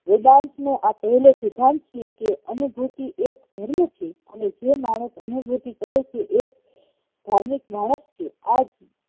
વેદાંત નો એ પેહેલો સિદ્ધાંત છેકે અનુભૂતિ એ જ ધર્મ છે અને જે માણશ એનું ભુતી કરે છે એજ ધાર્મિક માણસ છે આજ